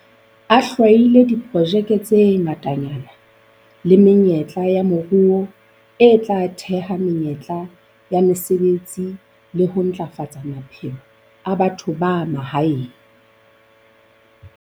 A hlwahile diprojeke tse ngatanyana le menyetla ya moruo e tla theha menyetla ya mesebetsi le ho ntlafatsa maphelo a batho ba mahaeng.